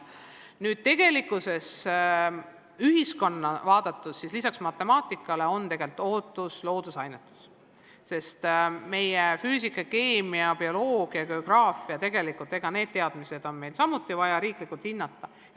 Nüüd, ühiskonna poolt vaadatuna on lisaks matemaatikale tegelikult ootused ka loodusainete suhtes: füüsika, keemia, bioloogia ja geograafiaga seotud teadmisi on meil samuti vaja riiklikult hinnata.